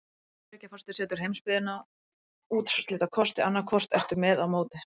Bandaríkjaforseti setur heimsbyggðinni úrslitakosti: annað hvort ertu með eða á móti.